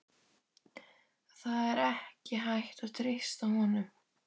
Það er ekki hægt að treysta honum.